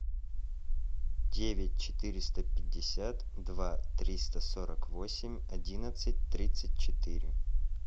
девять четыреста пятьдесят два триста сорок восемь одиннадцать тридцать четыре